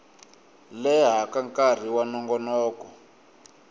leha ka nkarhi wa nongonoko